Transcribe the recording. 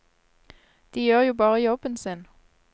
De gjør jo bare jobben sin.